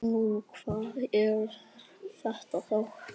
Nú, hvað er þetta þá?